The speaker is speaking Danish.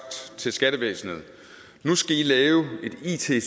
til skattevæsenet nu skal i lave et it